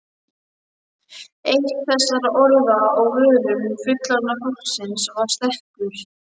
Eitt þessara orða á vörum fullorðna fólksins var stekkur.